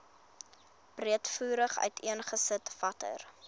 breedvoerig uiteengesit watter